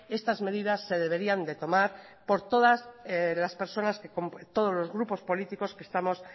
estas medidas se deberían de tomar por todas las personas de todos los grupos políticos que estamos